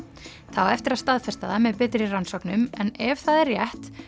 það á eftir að staðfesta það með betri rannsóknum en ef það er rétt